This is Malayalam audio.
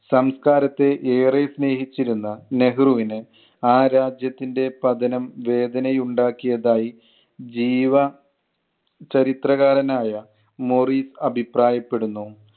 സംസ്‌കാരത്തെ ഏറെ സ്നേഹിച്ചിരുന്ന നെഹ്‌റുവിന് ആ രാജ്യത്തിൻ്റെ പതനം വേദന ഉണ്ടാക്കിയതായി ജീവ ചരിത്രകാരനായ മോറിസ് അഭിപ്രായപ്പെടുന്നു.